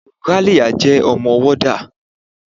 Ralia jẹ́ ọmọ warder.